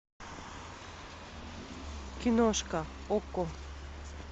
киношка окко